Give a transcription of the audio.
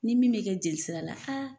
Ni min bɛ kɛ jeli sira la